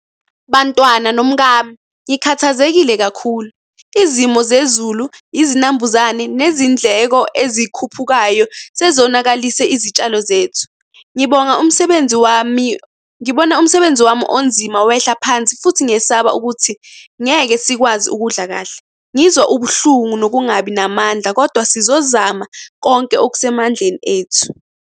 Bantwana nomkami, ngikhathazekile kakhulu. Izimo zezulu, izinambuzane, nezindleko ezikhuphukayo, sezonakalise izitshalo zethu. Ngibonga umsebenzi wami, ngibona umsebenzi wami onzima wehla phansi, futhi ngiyesaba ukuthi ngeke sikwazi ukudla kahle. Ngizwa ubuhlungu nokungabi namandla, kodwa sizozama konke okusemandleni ethu.